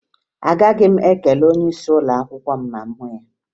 Agaghị m ekele onyeisi ụlọakwụkwọ m ma m hụ ya